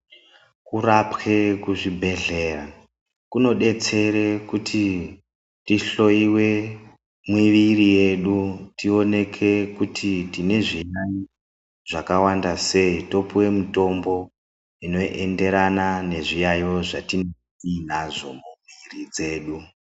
Kurapwe kuzvibhedhleya kunodetsere kuti tihloiwe mumwiri yedu, tioneke kuti tine zviyaiyo zvakawanda sei topiwe mitombo inoenderana nezviyaiyo zvatiinazvo mumwiri dzedu.